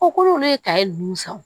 O kolo ne ye ninnu san